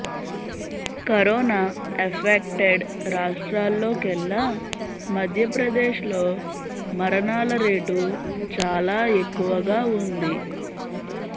corona affected రాష్ట్రాల్లోకెల్లా Madhya Pradesh లో మరణాల rate చాలా ఎక్కువగా ఉంది